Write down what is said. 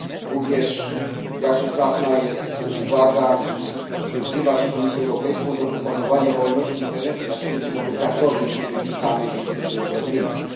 Również jakże trafna jest uwaga wzywająca Komisję Europejską do propagowania wolności Internetu na świecie wobec zagrożeń, o których czytamy i słyszymy coraz więcej.